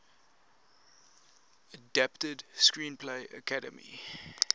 adapted screenplay academy